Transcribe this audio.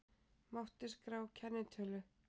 Mátti skrá kennitölu